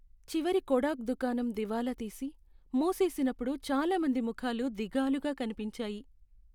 చివరి కొడాక్ దుకాణం దివాలా తీసి, మూసేసినప్పుడు చాలా మంది ముఖాలు దిగాలుగా కనిపించాయి.